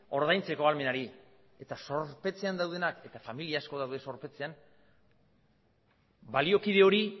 ordaintzeko ahalmenari eta zorpetzean daudenak eta familia asko daude zorpetzean baliokide hori